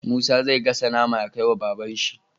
Musa zai gasa nama ya kai wa baban shi